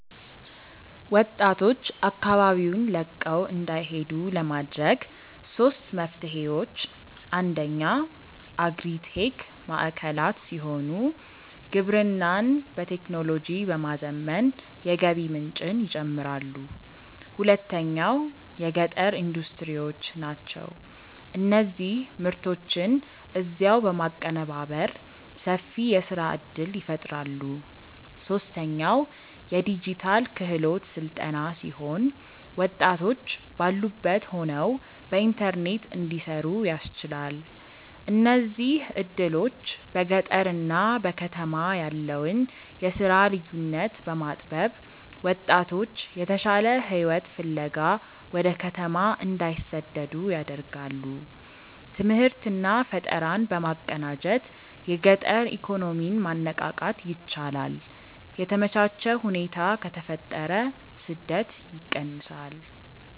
ወጣቶች አካባቢውን ለቀው እንዳይሄዱ ለማድረግ ሦስት መፍትሄዎች፦ አንደኛው አግሪ-ቴክ ማዕከላት ሲሆኑ፣ ግብርናን በቴክኖሎጂ በማዘመን የገቢ ምንጭን ይጨምራሉ። ሁለተኛው የገጠር ኢንዱስትሪዎች ናቸው፤ እነዚህ ምርቶችን እዚያው በማቀነባበር ሰፊ የሥራ ዕድል ይፈጥራሉ። ሦስተኛው የዲጂታል ክህሎት ሥልጠና ሲሆን፣ ወጣቶች ባሉበት ሆነው በኢንተርኔት እንዲሠሩ ያስችላል። እነዚህ ዕድሎች በገጠርና በከተማ ያለውን የሥራ ልዩነት በማጥበብ ወጣቶች የተሻለ ሕይወት ፍለጋ ወደ ከተማ እንዳይሰደዱ ያደርጋሉ። ትምህርትና ፈጠራን በማቀናጀት የገጠር ኢኮኖሚን ማነቃቃት ይቻላል። የተመቻቸ ሁኔታ ከተፈጠረ ስደት ይቀንሳል።